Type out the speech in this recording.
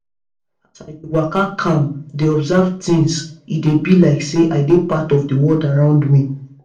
as i dey waka calm dey observe things e dey be like say i dey part of the world around me.